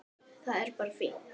Það er bara fínt!